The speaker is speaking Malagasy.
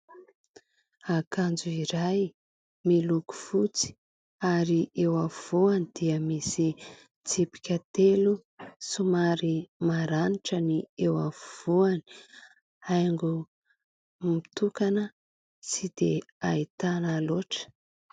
Akanjo iray miloko fotsy ary eo afovoany dia misy tsipika telo somary maranitra ny eo afovoany, haingo mitokana tsy dia ahitana loatra.